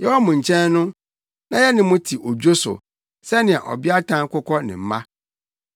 Yɛwɔ mo nkyɛn no, na yɛne mo te odwo so, sɛnea ɔbeatan kokɔ ne mma.